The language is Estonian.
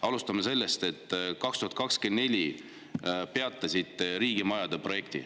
Alustame sellest, et 2024 te peatasite riigimajade projekti.